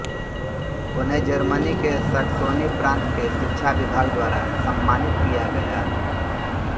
उन्हें जर्मनी के सैक्सोनी प्रान्त के शिक्षा विभाग द्वारा सम्मानित किया गया